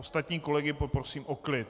Ostatní kolegy poprosím o klid...